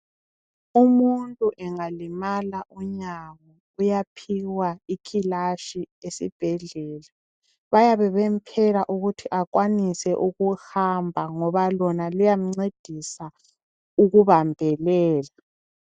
Umuntu engalimala unyawo uyaphiwa ikhilashi esibhedlela. Bayabe bemphela ukuthi akwanise ukuhamba ngoba lona luyamncedisa ukubambelela.